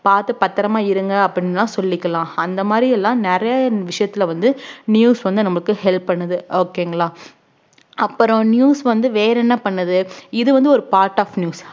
பாத்து பத்திரமா இருங்க அப்படின்னு எல்லாம் சொல்லிக்கலாம் அந்த மாதிரி எல்லாம் நிறைய விஷயத்துல வந்து news வந்து நமக்கு help பண்ணுது okay ங்களா அப்புறம் news வந்து வேற என்ன பண்ணுது இது வந்து ஒரு part of news